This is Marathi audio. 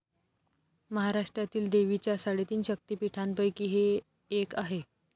महाराष्ट्रातील देवीच्या साडेतीन शक्तिपीठांपैकी हे एक आहे.